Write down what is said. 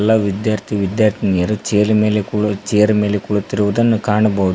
ಎಲ್ಲಾ ವಿದ್ಯಾರ್ಥಿ ವಿದ್ಯಾರ್ಥಿನಿಯರು ಚೇರ್ ಮೇಲೆ ಕುಳ ಚೇರ್ ಮೇಲೆ ಕುಳಿತಿರುವುದನ್ನು ಕಾಣಬಹುದು.